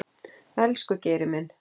Elsku Geiri minn.